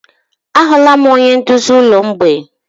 Ahụla m onye nduzi ụlọ mgbei.